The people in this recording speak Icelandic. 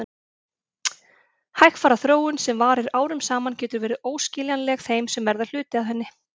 Hægfara þróun sem varir árum saman getur verið óskiljanleg þeim sem verða hluti af henni.